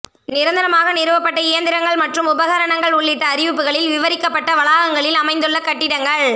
நிரந்தரமாக நிறுவப்பட்ட இயந்திரங்கள் மற்றும் உபகரணங்கள் உள்ளிட்ட அறிவிப்புகளில் விவரிக்கப்பட்ட வளாகங்களில் அமைந்துள்ள கட்டிடங்கள்